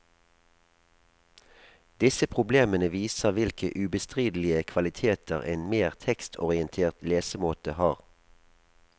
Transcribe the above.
Disse problemene viser hvilke ubestridelige kvaliteter en mer tekstorientert lesemåte har.